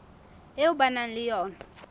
eo ba nang le yona